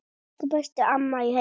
Elsku besta amma í heimi.